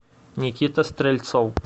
никита стрельцов